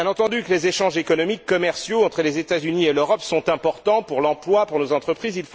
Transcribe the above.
Bien entendu les échanges économiques, commerciaux entre les États Unis et l'Europe sont importants pour l'emploi, pour les entreprises.